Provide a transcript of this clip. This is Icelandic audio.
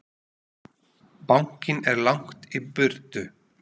Bankinn er langt í burtu.